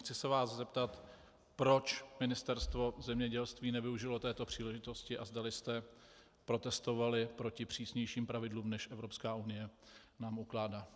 Chci se vás zeptat, proč Ministerstvo zemědělství nevyužilo této příležitosti a zdali jste protestovali proti přísnějším pravidlům, než Evropská unie nám ukládá.